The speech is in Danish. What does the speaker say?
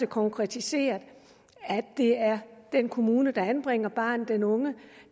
konkretiseret at det er den kommune der anbringer barnet den unge